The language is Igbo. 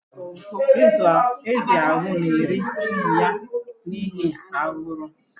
Ézì ahụ na-eri ụmụ ya n'ihi aguru.